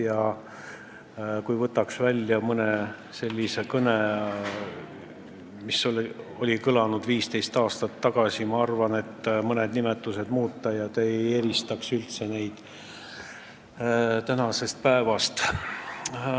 Ja kui võtaks välja mõne sellise kõne, mis kõlas 15 aastat tagasi, siis ma arvan, et kui mõned nimetused ära muuta, siis te ei eristaks neid üldse tänastest sõnavõttudest.